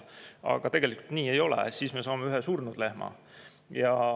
Aga tegelikult ju nii ei ole, siis me saame ühe surnud lehma.